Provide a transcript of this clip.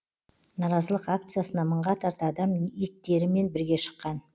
наразылық акциясына мыңға тарта адам иттерімен бірге шыққан